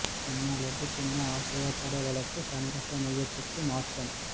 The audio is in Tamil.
கண்ணா லட்டு தின்ன ஆசையா பட வழக்கு சமரச மையத்துக்கு மாற்றம்